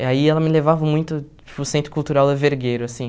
E aí ela me levava muito para o Centro Cultural da Vergueiro, assim.